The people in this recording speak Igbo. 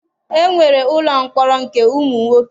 E nwere ụlọ mkpọrọ nke ụmụ nwoke.